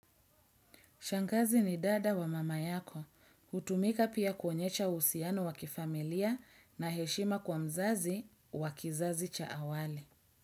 Shangazi ni dada wa mama yako. Hutumika pia kuonyesha uhusiano wa kifamilia na heshima kwa mzazi wa kizazi cha awali.